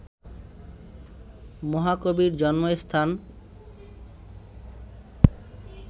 মহাকবির জন্মস্থান